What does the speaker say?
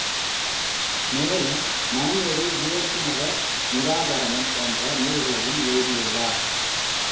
மேலும் நன்னெறி இயேசு மத நிராகரணம் போன்ற நூல்களையும் எழுதியுள்ளார்